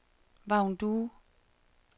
Vagn Due